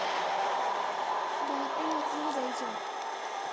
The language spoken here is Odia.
ବାହାରକେ ବାହାରକେ ବି ଯାଇଛ?